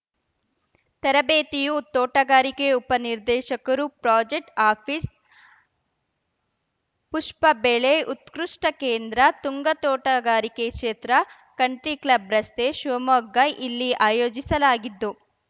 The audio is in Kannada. ತರಬೇತಿಯು ತೋಟಗಾರಿಕೆ ಉಪನಿರ್ದೇಶಕರು ಪ್ರಾಜೆಕ್ಟ್ ಆಫೀಸ್ ಪುಷ್ಪ ಬೆಳೆ ಉತ್ಕೃಷ್ಟಕೇಂದ್ರ ತುಂಗಾ ತೋಟಗಾರಿಕೆ ಕ್ಷೇತ್ರ ಕಂಟ್ರಿ ಕ್ಲಬ್‌ ರಸ್ತೆ ಶಿವಮೊಗ್ಗ ಇಲ್ಲಿ ಆಯೋಜಿಸಲಾಗಿದ್ದು